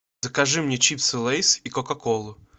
закажи мне чипсы лейс и кока колу